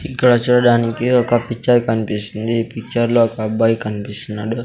ఇక్కడ చూడడానికి ఒక పిక్చర్ కన్పిస్తుంది ఈ పిక్చర్లో ఒక అబ్బాయి కన్పిస్తున్నాడు.